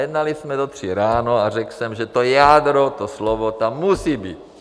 Jednali jsme do tří ráno a řekl jsem, že to jádro, to slovo tam musí být.